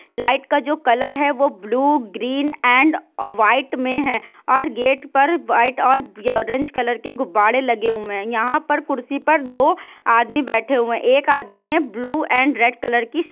light का जो colour है वो ब्लू ग्रीन एंड व्हाइट मे है और गेट पर व्हाइट और ऑरेंज कलर के गुब्बारे लगे हुए है यहां पर कुर्सी पर दो आदमी बैठे हुए है एक आदमी ने ब्लू एंड रेड कलर की--